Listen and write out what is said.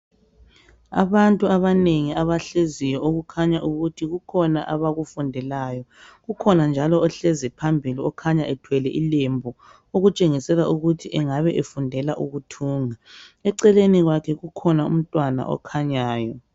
Abantu abanengi abahleziyo okukhanya ukuthi kukhona abakufundelayo. Kukhona njalo ohlezi phambili okhanya ethwele ilembu okutshengisela ukuthi engabe efundela ukuthunga. Eceleni kwakhe kukhona umntwana okhanyayo.